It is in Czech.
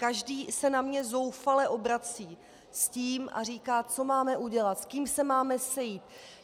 Každý se na mě zoufale obrací s tím a říká: co máme udělat, s kým se máme sejít?